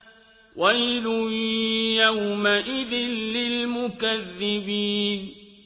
وَيْلٌ يَوْمَئِذٍ لِّلْمُكَذِّبِينَ